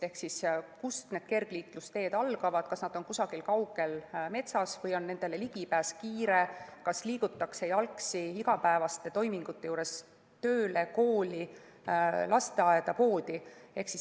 Ehk kust need kergliiklusteed algavad, kas nad on kusagil kaugel metsas või saab nendele kiiresti ligi, kas igapäevaste toimingute juures liigutakse jalgsi tööle, kooli, lasteaeda, poodi.